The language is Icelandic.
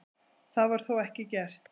Það var þó ekki gert.